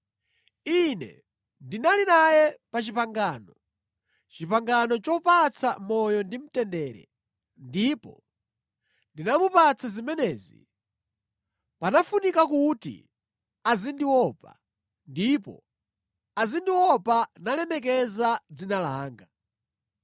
Ine ndinali naye pa pangano, pangano lopatsa moyo ndi mtendere, ndipo ndinamupatsa zimenezi kuti azindiopa, ndipo anandiopadi ndi kulemekeza dzina langa.